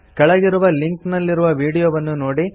ಕೆಳಗಿರುವ ಲಿಂಕ್ ನಲ್ಲಿರುವ ವೀಡಿಯೊವನ್ನು ನೋಡಿ